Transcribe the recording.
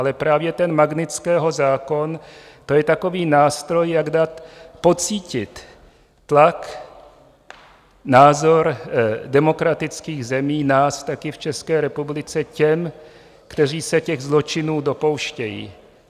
Ale právě ten Magnitského zákon, to je takový nástroj, jak dát pocítit tlak, názor demokratických zemí, nás taky v České republice, těm, kteří se těch zločinů dopouštějí.